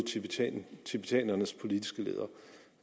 tibetanernes politiske leder